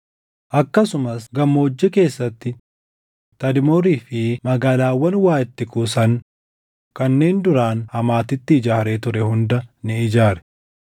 Akkasumas gammoojjii keessatti Tadmoorii fi magaalaawwan waa itti kuusan kanneen duraan Hamaatitti ijaaree ture hunda ni ijaare.